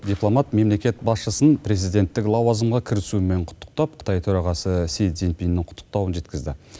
дипломат мемлекет басшысын президенттік лауазымға кірісуімен құттықтап қытай төрағасы си цзиньпиннің құттықтауын жеткізді